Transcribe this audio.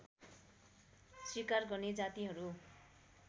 स्वीकार गर्ने जातिहरू